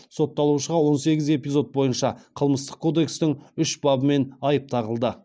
сотталушыға он сегіз эпизод бойынша қылмыстық кодекстің үш бабымен айып тағылды